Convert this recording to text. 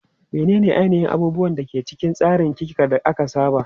Menene ainihin abubuwan da ke cikin tsarin ki ka da aka saba?